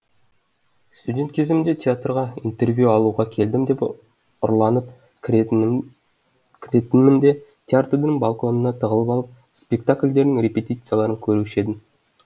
студент кезімде театрға интервью алуға келдім деп ұрланып кіретінмін кіретінмін де театрдың балконына тығылып алып спектакльдердің репетицияларын көруші едім